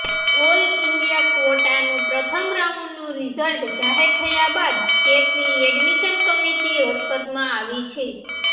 all India ક્વોટાનું પ્રથમ રાઉન્ડનું રિઝલ્ટ જાહેર થયા બાદ સ્ટેટની એડમિશન કમિટી હરકતમાં આવી છે